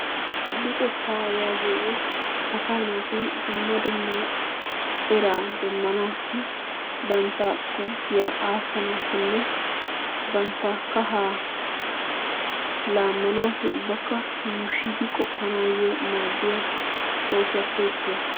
Luxettaa yagiyogee asaa natti dumma dumma eraa demanasi banttaa gugiyaa asanassinne bantta kaha lamanassinne yushiddi qopanasi madiya osuwappe isuwa.